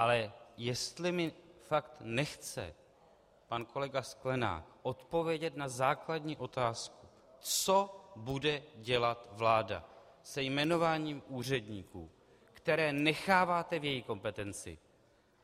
Ale jestli mi fakt nechce pan kolega Sklenák odpovědět na základní otázku, co bude dělat vláda se jmenováním úředníků, které necháváte v její kompetenci,